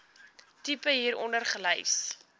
tipe hieronder gelys